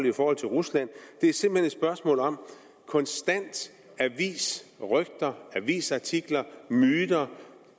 i forhold til rusland det er simpelt hen et spørgsmål om konstante avisrygter avisartikler myter